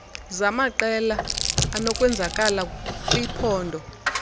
zamaqela anokwenzakala kwiphpondo